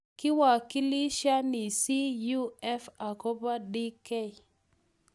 Kiwakilishani CUF akobo DK.